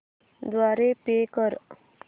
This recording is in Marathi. द्वारे पे कर